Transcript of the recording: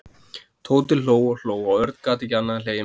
Tóti hló og hló og Örn gat ekki annað en hlegið með honum.